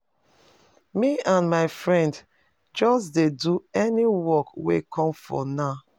Me and my friend just dey do any work wey come for now